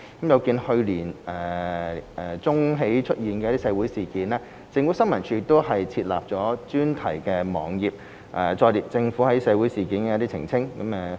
有見去年年中起出現的社會事件，政府新聞處已設立專題網頁，載列政府就社會事件的澄清。